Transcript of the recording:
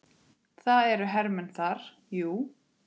Það eru hermenn þar, jú.